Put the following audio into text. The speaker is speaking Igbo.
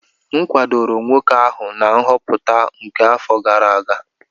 M kwadoro nwoke ahụ na nhọpụta nke afọ gara aga